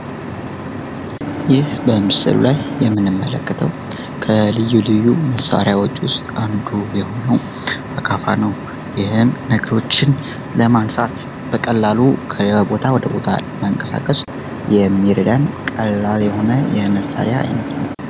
ይህ በምስሉ የምንመለከተው ከልዩ ልዩ መሳሪያዎች ውስጥ አንዱ የሆነው አካፋ ነው። ይህ ነገሮችን ለማንሳት በቀላሉ ከቦታ ወደ ቦታ ለማንቀሳቀስ የሚረዳን ቀላል የሆነ የመሳሪያ አይነት ነው።